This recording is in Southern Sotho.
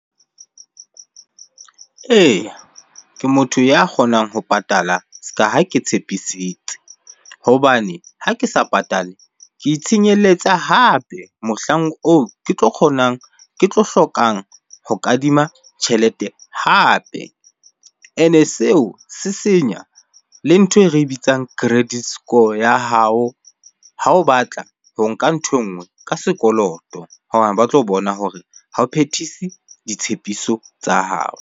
Eya, ke motho ya kgonang ho patala se ka ha ke tshepisitse. Hobane ha ke sa patale ke itshenyeletsang hape mohlang oo ke tlo kgonang, ke tlo hlokang ho kadima tjhelete hape. Ene seo se senya le ntho e re bitsang credit score ya hao ha o batla ho nka ntho e nngwe ka sekoloto hobane ba tlo bona hore ha o phethise ditshepiso tsa hao.